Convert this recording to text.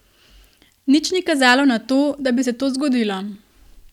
Nič ni kazalo na to, da bi se to zgodilo.